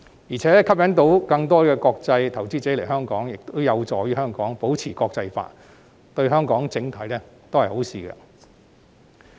再者，能吸引到更多國際投資者前來，亦有助香港保持國際化，對整體都是好事。